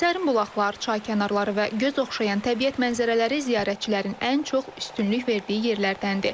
Sərin bulaqlar, çay kənarları və göz oxşayan təbiət mənzərələri ziyarətçilərin ən çox üstünlük verdiyi yerlərdəndir.